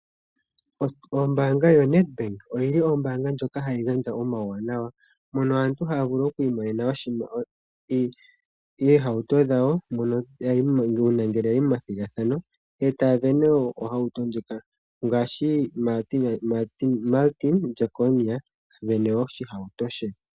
Ombaanga yoNedbank oyili ombaanga ndjoka hayi gandja omauwanawa, mono aantu haya vulu oku imonena oohauto dhawo uuna ya yi methigathano e taya sindana. Oohauto ndhoka ngaashi Martin Jekonia a sindana oshihauto she.